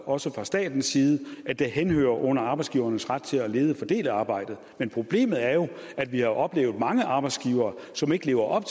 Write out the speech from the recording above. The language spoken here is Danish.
også fra statens side at det henhører under arbejdsgivernes ret til at lede og fordele arbejdet men problemet er jo at vi har oplevet mange arbejdsgivere som ikke lever op